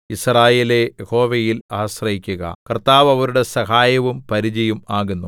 യിസ്രായേലേ യഹോവയിൽ ആശ്രയിക്കുക കർത്താവ് അവരുടെ സഹായവും പരിചയും ആകുന്നു